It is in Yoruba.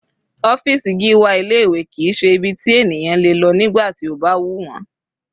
Ọ́fìsì Gíwá ilé ìwé kìí ṣe ibi tí ènìyàn le lọ nígbà tí ó bá wù wọ́n.